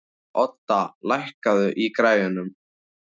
Odda, lækkaðu í græjunum.